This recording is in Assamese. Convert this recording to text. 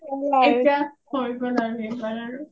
এতিয়া হয় গ’ল আৰু এইবাৰ আৰু